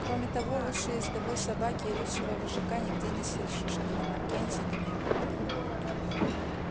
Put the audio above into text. кроме того лучшей ездовой собаки и лучшего вожака нигде не сыщешь ни на маккензи ни на юконе